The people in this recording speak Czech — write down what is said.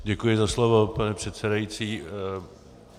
Děkuji za slovo, pane předsedající.